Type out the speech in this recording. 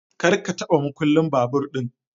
kar ka taba makullin babur din.